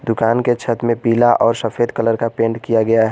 दुकान के छत में पीला और सफेद कलर का पेंट किया गया है।